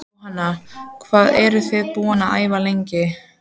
Jóhanna: Hvað eruð þið búin að æfa lengi?